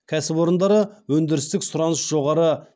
кәсіпорындары өңдірістік сұраныс жоғары